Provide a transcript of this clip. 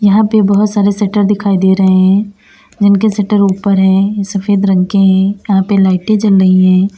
यहां पे बहोत सारे शटर दिखाई दे रहे हैं जिनके शटर ऊपर है सफेद रंग के हैं यहां पे लाइटे जल रही है।